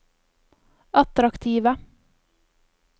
attraktive